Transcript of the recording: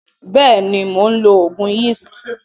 Beeni, Mon lo ogun yeast.